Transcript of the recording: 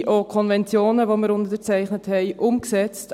Sind auch Konventionen umgesetzt, die wir unterzeichnet haben?